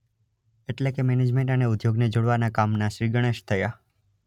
એટલે કે મેનેજમેન્ટ અને ઉધોગને જોડવાના કામનાં શ્રી ગણેશ થયા!